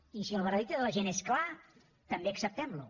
i si el veredicte de la gent és clar també acceptem lo